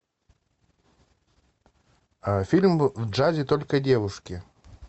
фильм в джазе только девушки